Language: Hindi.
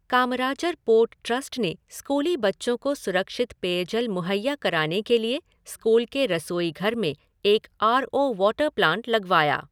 कामराजार पोर्ट ट्रस्ट ने स्कूली बच्चों को सुरक्षित पेयजल मुहैया कराने के लिए स्कूल के रसोई घर में एक आर ओ वाटर प्लांट लगवाया।